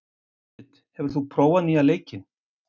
Júdit, hefur þú prófað nýja leikinn?